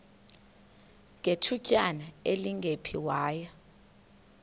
ngethutyana elingephi waya